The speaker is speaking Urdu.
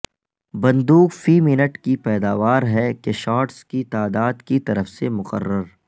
بندوق فی منٹ کی پیداوار ہے کہ شاٹس کی تعداد کی طرف سے مقرر